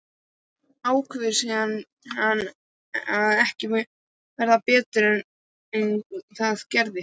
Ákveður síðan að ekki verði betur að gert.